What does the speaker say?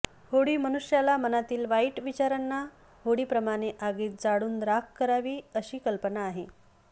होळी मनुष्याला मनातील वाईट विचारांना होळीप्रमाणे आगीत जाळून राख करावी अशी कल्पना आहे